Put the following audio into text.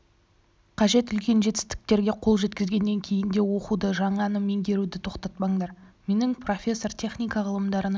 қажет үлкен жетістіктерге қол жеткізгеннен кейін де оқуды жаңаны меңгеруді тоқтатпаңдар менің профессор техника ғылымдарының